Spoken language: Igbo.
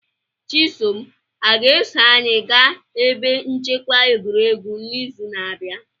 Chisom a ga-eso anyị gaa ebe nchekwa egwuregwu n'izu na-abịa?